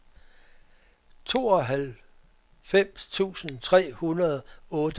tooghalvfems tusind tre hundrede og otteogfirs